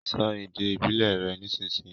So èdè ìbílè rẹ nísìsiyìí!